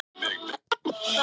Saga er.